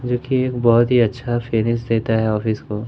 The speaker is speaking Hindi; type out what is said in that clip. जो की एक बहोत ही अच्छा फिनिश देता है ऑफिस को।